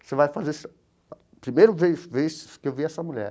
Você vai fazer essa... Primeira vez vez que eu vi essa mulher.